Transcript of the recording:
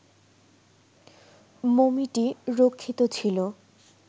মমিটি রক্ষিত ছিল